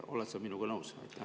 Oled sa minuga nõus?